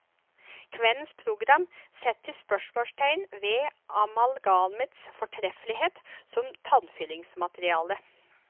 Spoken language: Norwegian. Kveldens program setter spørsmålstegn ved amalgamets fortreffelighet som tannfyllingsmateriale.